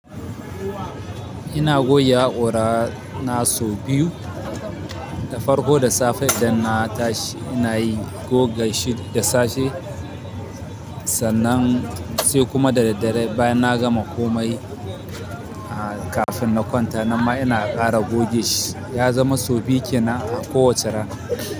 Ina goge haƙora na sau biyu, da farko da safe idan na tashi ina yi goga shi da safe, sannan sai kuma da daddare bayan na gama komai kafin na kwanta. Nan ma ina ƙara goge shi. Ya zama so biyu kinan a kowace rana.